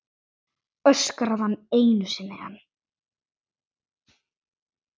öskraði hann einu sinni enn.